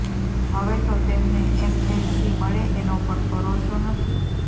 હવે તો તેમને એમએલસી મળે એનો પણ ભરોસો નથી